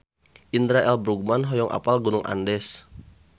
Indra L. Bruggman hoyong apal Gunung Andes